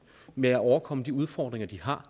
med at overkomme de udfordringer de har